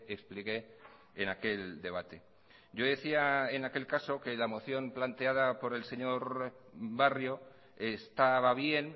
expliqué en aquel debate yo decía en aquel caso que la moción planteada por el señor barrio estaba bien